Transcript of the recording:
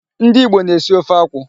Ndị Igbo na-esi ofe akwụ